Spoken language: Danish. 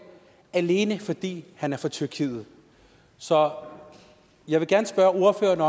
alene fordi han er fra tyrkiet så jeg vil gerne spørge ordføreren